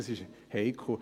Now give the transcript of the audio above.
Das ist heikel.